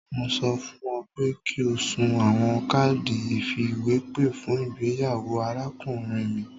Mo sọ fun ọ pe ki o sun awọn kaadi ifiwepe fun igbeyawo arakunrin mi